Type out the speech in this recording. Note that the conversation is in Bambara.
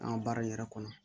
An ka baara in yɛrɛ kɔnɔ